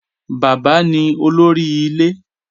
Baba ni olori ile